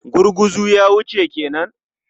Gurguzu ya wuce ke nan?